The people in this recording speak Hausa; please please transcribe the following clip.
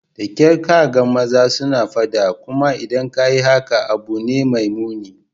Da kyar ka ga maza suna fada, kuma idan ka yi hakan, abu ne mai muni.